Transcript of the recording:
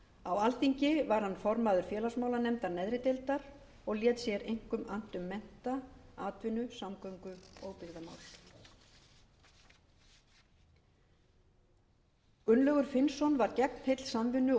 á alþingi var hann formaður félagsmálanefndar neðri deildar og lét sér einkum annt um mennta atvinnu samgöngu og byggðamál gunnlaugur finnsson var gegnheill samvinnu og